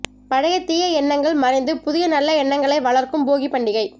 பழைய தீய எண்ணங்கள் மறைந்து புதிய நல்ல எண்ணங்களை வளர்க்கும் போகிப் பண்டிகை